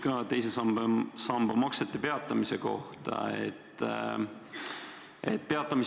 Küsimus teise samba maksete peatamise kohta.